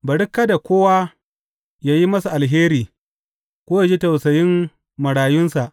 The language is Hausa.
Bari kada kowa yă yi masa alheri ko yă ji tausayin marayunsa.